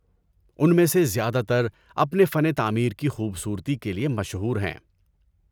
ان میں سے زیادہ تر اپنے فن تعمیر کی خوبصورتی کے لیے مشہور ہیں۔